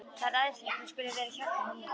Það er æðislegt að þú skulir vera hérna hjá mér.